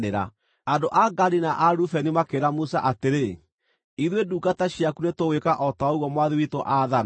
Andũ a Gadi na a Rubeni makĩĩra Musa atĩrĩ, “Ithuĩ ndungata ciaku nĩtũgwĩka o ta ũguo mwathi witũ aathana.